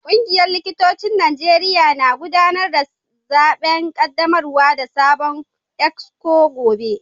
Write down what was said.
Kungiyar likitocin Najeriya na gudanar da zaben kaddamar da sabon exco gobe